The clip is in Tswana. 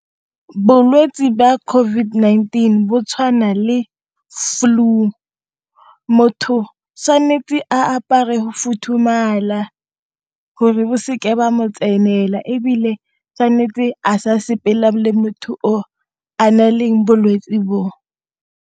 Bolwetsi jwa COVID-19 bo tshwana le flue motho tshwanetse motho tshwanetse a apare go futhumala gore bo seke jwa mo tsenela ebile tshwanetse a sa sepela le motho o a na leng bolwetsi boo.